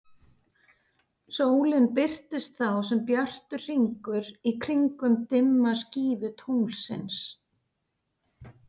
Sólin birtist þá sem bjartur hringur í kringum dimma skífu tunglsins.